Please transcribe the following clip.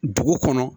Dugu kɔnɔ